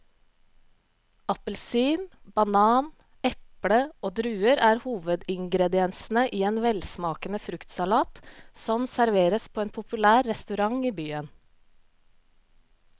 Appelsin, banan, eple og druer er hovedingredienser i en velsmakende fruktsalat som serveres på en populær restaurant i byen.